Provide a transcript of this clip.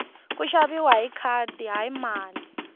ku xaviwa hi khadi hayi mali